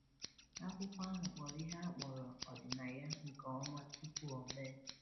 Akwụkwọ ahụ kpọrọ ihe a kpọrọ ọdịnaya nke ọma tupu o mee.